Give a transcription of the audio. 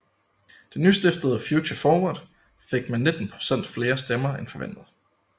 Det nystiftede Future Forward fik med 19 procent flere stemmer end forventet